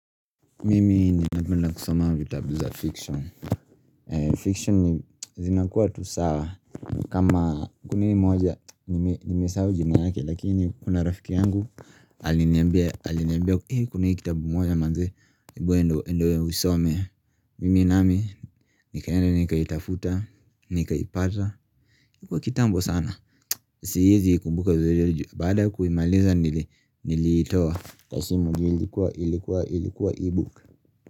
Mimi ninapenda kusoma vitabu za fiction. Fiction ni zinakuwa tu sawa. Kama kumi moja nimesahau jina yake lakini kuna rafiki yangu aliniambia kuna kitabu moja manze ebu enda usome. Mimi nami nikaenda nikaitafuta, nikaitapata, ilikuwa kitambo sana. Siezi kumbuka vizuri baada kuimaliza nilitoa kwa simu juu ilikuwa ilikuwa ebook.